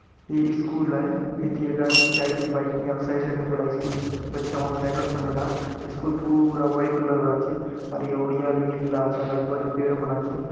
इ इस्कूल आय इति एक आदमी जाय छे बाइक ने अउ साइड साइड पूरा इस्कूल बच्चा मन साइकिल समे लात इस्कूल पूरा वाइट कलर आचे और ये ओड़िया निक ला सर आजु-बाजु पेड़ मन आचे।